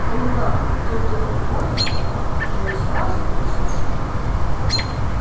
когда кто-то уходит мы сразу чувствуем